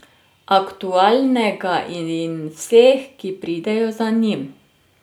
Aktualnega in vseh, ki pridejo za njim.